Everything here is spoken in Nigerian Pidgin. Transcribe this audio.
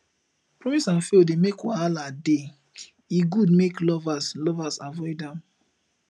promise and fail dey make wahala dey e good make lovers lovers avoid am